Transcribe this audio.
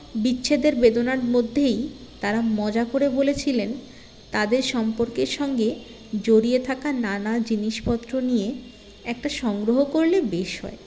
বিচ্ছেদের বেদনার মধ্যেই তারা মজা করে বলেছিলেন তাদের সম্পর্কের সঙ্গে জড়িয়ে থাকা নানা জিনিসপত্র নিয়ে একটা সংগ্ৰহ করলে বেশ হয়